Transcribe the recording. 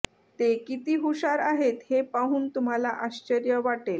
ते किती हुशार आहेत हे पाहून तुम्हाला आश्चर्य वाटेल